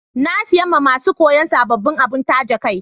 Na siya ma masun koyo sabobin abun taje kai.